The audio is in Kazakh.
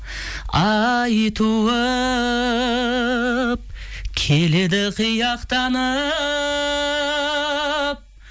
ай туып келеді қияқтанып